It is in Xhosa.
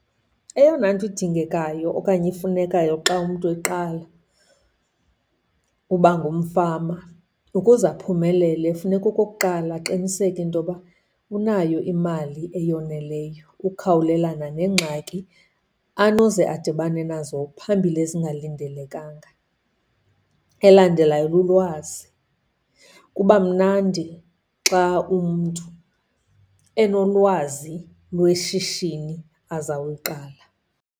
Eyona nto idingekayo okanye ifunekayo xa umntu eqala uba ngumfama ukuze aphumelele, funeka okokuqala aqiniseke into ba unayo imali eyoneleyo ukukhawulelana neengxaki anoze adibane nazo phambili ezingalindelekanga. Elandelayo lulwazi. Kuba mnandi xa umntu enolwazi lweshishini azawuluqala.